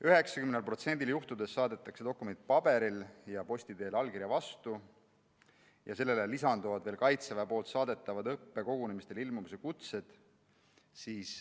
90%‑l juhtudest saadetakse dokument paberil ja posti teel allkirja vastu, sellele lisanduvad veel Kaitseväe saadetavad õppekogunemistele ilmumise kutsed.